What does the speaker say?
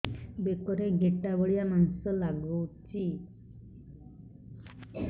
ବେକରେ ଗେଟା ଭଳିଆ ମାଂସ ଲାଗୁଚି